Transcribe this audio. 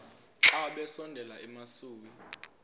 xa besondela emasuie